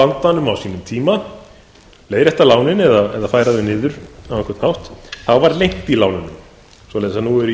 á sínum tíma leiðrétta lánin eða færa þau niður á einhvern hátt var lengt í lánunum svoleiðis að nú eru í